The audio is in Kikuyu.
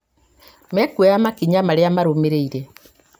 mekuoya makinya marĩa marũmĩrĩire